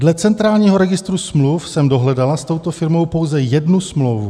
Dle centrálního registru smluv jsem dohledala s touto firmou pouze jednu smlouvu.